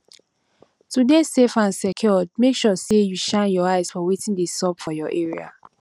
to de safe and secured make sure say you shine your eyes for wetin de sup for your area